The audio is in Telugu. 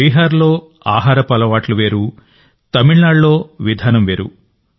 బీహార్లో తినే విధానం వేరు తమిళనాడులో తినే విధానం వేరు